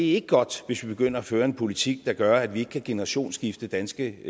ikke godt hvis vi begynder at føre en politik der gør at vi ikke kan generationsskifte danske